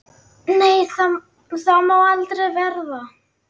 Nei, það má aldrei verða.